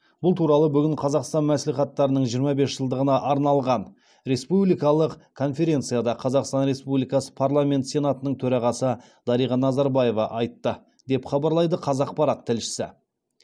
бұл туралы бүгін қазақстан мәслихаттарының жиырма бес жылдығына арналған республикалық конференцияда қазақстан республикасының парламенті сенатының төрағасы дариға назарбаева айтты деп хабарлайды қазақпарат тілшісі